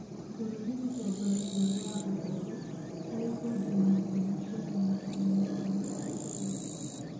Bũrũri ũtongoretie ũrĩ wa gatatu hari kwendia na nja maciaro matarĩ maikaru ma mũgũnda